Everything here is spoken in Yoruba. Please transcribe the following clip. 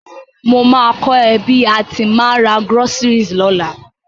Mo ma ko ẹ bi a ti ma n ra groceries lọ́la